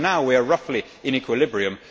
Even now we are roughly in equilibrium.